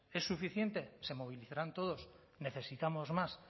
es suficiente se movilizarán todos necesitamos más